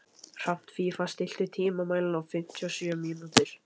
Hrafnfífa, stilltu tímamælinn á fimmtíu og sjö mínútur.